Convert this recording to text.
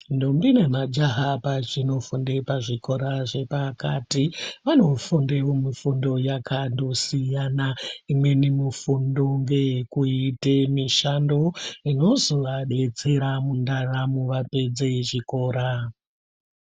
Ndombi nemajaha pazvinofunde pazvikorazvepakati vanofunde mifundo yakatosiyana imweni mifundo ngeyekuite mishando inozovadetsera mundaramo vapedze chikora.